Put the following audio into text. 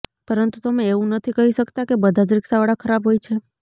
પરંતુ તમે એવું નથી કહી શકતા કે બધા જ રિક્ષાવાળા ખરાબ હોય છે